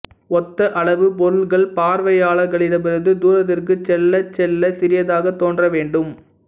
ஒத்த அளவு பொருள்கள் பார்வையாளர்களிடமிருந்து தூரத்திற்குச் செல்லச் செல்ல சிறியதாகத் தோன்ற வேண்டும்